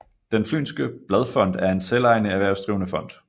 Den Fynske Bladfond er en selvejende erhvervsdrivende fond